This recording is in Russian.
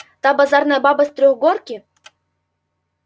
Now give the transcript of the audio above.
та базарная баба с трехгорки